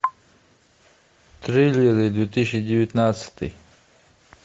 триллеры две тысячи девятнадцатый